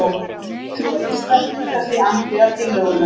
Fulltrúar Íslands lýsa sig andvíga tillögunum